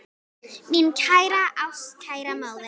Mín kæra ástkæra móðir.